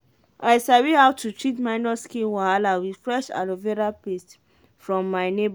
i sabi how to treat minor skin wahala with fresh aloe vera paste from my neighbor.